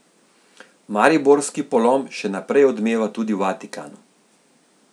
Mariborski polom še naprej odmeva tudi v Vatikanu.